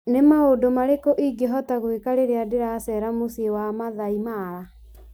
Nĩ maũndũ marikũ marĩa ingĩhota gwĩka rĩrĩa ndĩracera muciĩ wa Maathai Mara?